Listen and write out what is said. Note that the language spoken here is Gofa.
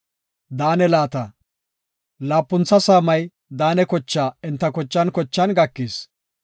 Laapuntha saamay Daane kochaa enta kochan kochan gakis.